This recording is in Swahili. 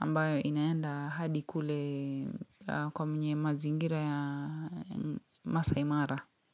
ambayo inaenda hadi kule kwa mnye mazingira ya Masaimara.